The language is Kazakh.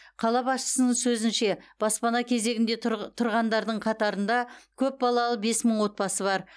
қала басшысының сөзінше баспана кезегінде тұрғандардың қатарында көпбалалы бес мың отбасы бар